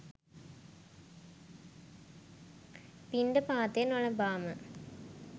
පිණ්ඩපාතය නොලබාම